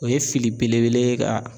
O ye fili belebele ye ka